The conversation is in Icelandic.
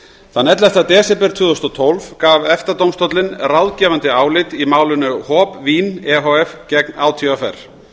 þann ellefta desember tvö þúsund og tólf gaf efta dómstóllinn ráðgefandi álit í málinu hob vín e h f gegn átvr